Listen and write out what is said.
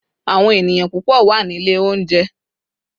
awon eniyan pupo wa Nile ounje